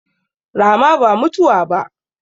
Rama ba mutuwa ba